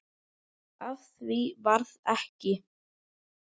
Af því varð ekki.